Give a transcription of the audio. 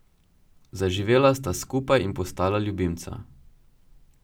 Zaživela sta skupaj in postala ljubimca.